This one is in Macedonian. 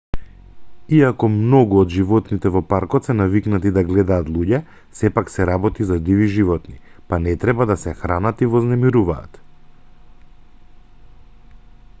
иако многу од животните во паркот се навикнати да гледаат луѓе сепак се работи за диви животни па не треба да се хранат и вознемируваат